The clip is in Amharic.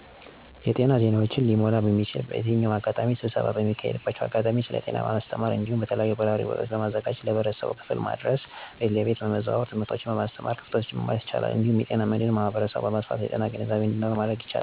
የጤና ዜናወች' ሊሞላ እሚችልበት በየትኛውም አጋጣሚ ስብሰባ በሚካሄድባቸው አጋጣሚ ስለ ጤና በማስተማር እዲሁም የተለያዩ በራሪ ወረቀቶችን በማዘጋጀት ለህብረተሰብ ክፋል በማድረስ እዲሁም ቤት ለቤት በመዘዋወር ትምህቶችን በማስተማር ክፍተቶችን መሙላት ይቻላል። እዲሁም የጤና መድን ህብረተሰቡን በማስከፋት ስለጤና ግንዛቤ እዲኑረው በማድረግ ክፍተቱን መሙላት ይቻላል።